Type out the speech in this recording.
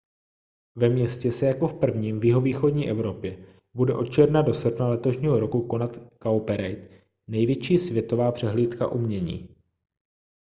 ve městě se jako v prvním v jihovýchodní evropě bude od června do srpna letošního roku konat cowparade největší světová přehlídka umění